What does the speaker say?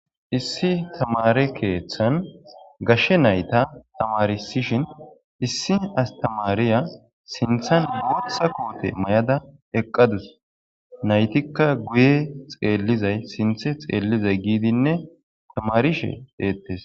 Issi tamare keeththan gashshe nayta tamarisishin issi astamariya sinthan gootha kuote may7ada eqqadus naytikka guye xeellizay sinthe xeellizay giidinne tamarishe deettes.